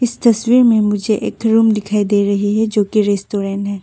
इस तस्वीर में मुझे एक रूम दिखाई दे रही है जो की रेस्टोरेंट है।